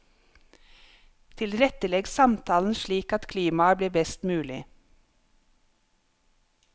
Tilrettelegg samtalen slik at klimaet blir best mulig.